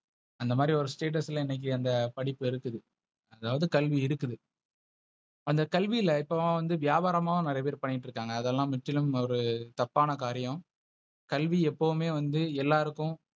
அந்த மாதிரி ஒரு Status ல இன்னிக்கு அந்த படிப்பு இருக்குது. அதாவது கல்வி இருக்குது. அந்த கல்வில இப்ப வந்து வியாபாரமாவோ நிறைய பேர் பண்ணிட்டு இருக்காங்க. அதெல்லாம் முற்றிலும் ஒரு தப்பான காரியம். கல்வி எப்பவுமே வந்து எல்லாருக்கும்,